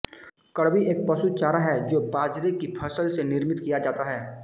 कडबी एक पशु चारा है जो बाजरे की फसल से निर्मित किया जाता है